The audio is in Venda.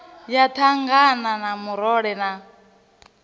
ya thangana ya murole na